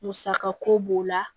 Musaka ko b'o la